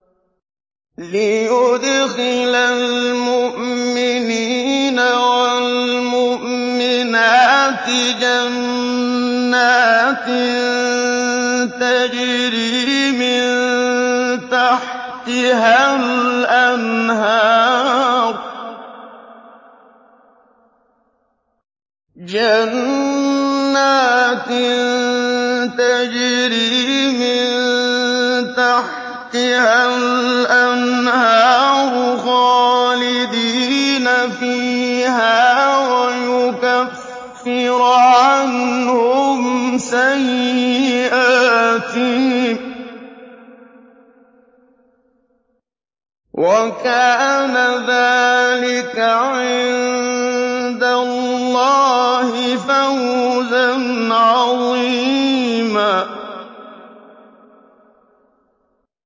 لِّيُدْخِلَ الْمُؤْمِنِينَ وَالْمُؤْمِنَاتِ جَنَّاتٍ تَجْرِي مِن تَحْتِهَا الْأَنْهَارُ خَالِدِينَ فِيهَا وَيُكَفِّرَ عَنْهُمْ سَيِّئَاتِهِمْ ۚ وَكَانَ ذَٰلِكَ عِندَ اللَّهِ فَوْزًا عَظِيمًا